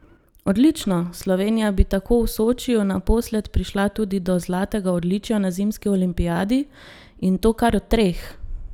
Odlično, Slovenija bi tako v Sočiju naposled prišla tudi do zlatega odličja na zimski olimpijadi, in to kar treh!